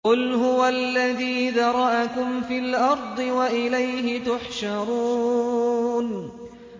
قُلْ هُوَ الَّذِي ذَرَأَكُمْ فِي الْأَرْضِ وَإِلَيْهِ تُحْشَرُونَ